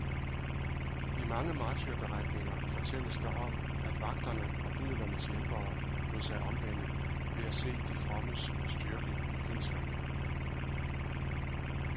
I mange martyrberetninger fortælles der om, at vagterne og bødlernes hjælpere lod sig omvende ved at se de frommes styrke i pinslerne.